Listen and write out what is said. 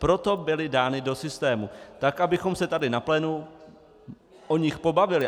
Proto byly dány do systému, tak abychom se tady na plénu o nich pobavili.